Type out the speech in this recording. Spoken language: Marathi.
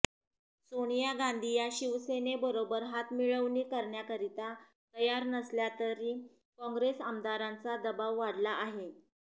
सोनिया गांधी या शिवसेनेबरोबर हातमिळवणी करण्याकरिता तयार नसल्या तरी काँग्रेस आमदारांचा दबाव वाढला आहे